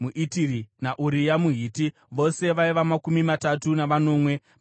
naUria muHiti. Vose vaiva makumi matatu navanomwe pamwe chete.